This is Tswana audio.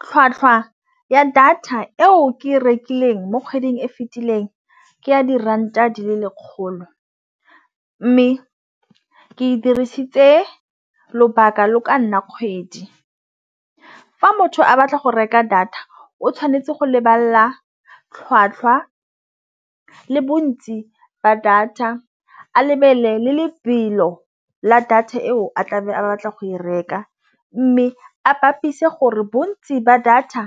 Tlhwatlhwa ya data eo ke e rekileng mo kgweding e fetileng ke ya diranta di le lekgolo, mme ke e dirisitse lobaka lo ka nna kgwedi. Fa motho a batla go reka data o tšhwanetse go lebala tlhwatlhwa le bontsi ba data a lebelele le lebelo la data eo a tlabe a batla go e reka, mme a bapise gore bontsi ba data